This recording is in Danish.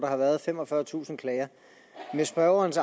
har været femogfyrretusind klager spørgerens